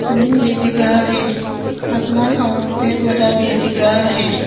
ज़मीन भी दिख रहा है। आसमान और पेड़ पौधा भी दिख रहा है।